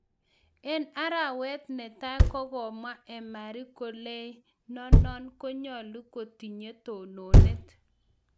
En arawet netai kogomwa Emery koleinonon konyolu kotinye tononet